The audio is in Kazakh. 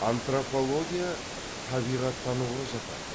антропология табиғаттануға жатады